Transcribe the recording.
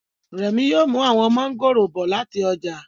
Remi yóò mú àwọn mọ́ngòrò bọ̀ láti ọjà